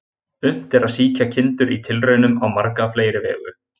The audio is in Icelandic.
Unnt er að sýkja kindur í tilraunum á marga fleiri vegu.